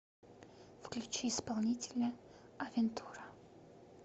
включи исполнителя авентура